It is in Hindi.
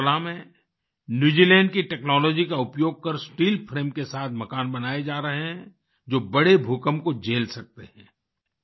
अगरतला में न्यू जीलैंड की टेक्नोलॉजी का उपयोग कर स्टील फ्रेम के साथ मकान बनाए जा रहे हैं जो बड़े भूकंप को झेल सकते हैं